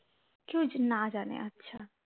কেউ না জানে আচ্ছা